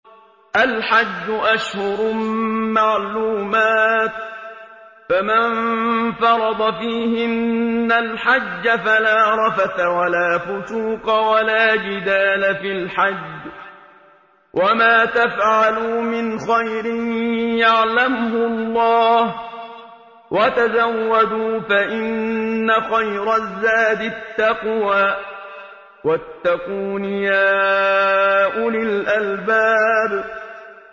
الْحَجُّ أَشْهُرٌ مَّعْلُومَاتٌ ۚ فَمَن فَرَضَ فِيهِنَّ الْحَجَّ فَلَا رَفَثَ وَلَا فُسُوقَ وَلَا جِدَالَ فِي الْحَجِّ ۗ وَمَا تَفْعَلُوا مِنْ خَيْرٍ يَعْلَمْهُ اللَّهُ ۗ وَتَزَوَّدُوا فَإِنَّ خَيْرَ الزَّادِ التَّقْوَىٰ ۚ وَاتَّقُونِ يَا أُولِي الْأَلْبَابِ